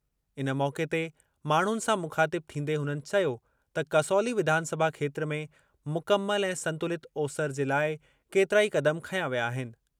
इन मौक़े ते माण्हुनि सां मुख़ातिब थींदे हुननि चयो त कसौली विधानसभा खेत्रु में मुकमल ऐं संतुलित ओसरि जे लाइ केतिरा ई क़दम खंया विया आहिनि।